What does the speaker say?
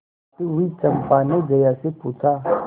देखती हुई चंपा ने जया से पूछा